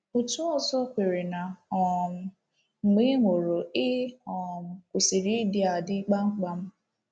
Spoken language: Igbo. Otu ọzọ kweere na um mgbe ị nwụrụ, ị um kwụsịrị ịdị adị, kpamkpam.